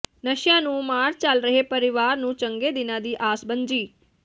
ਨਸ਼ਿਆਂ ਦੀ ਮਾਰ ਝੱਲ ਰਹੇ ਪਰਿਵਾਰ ਨੂੰ ਚੰਗੇ ਦਿਨਾਂ ਦੀ ਆਸ ਬੱਝੀ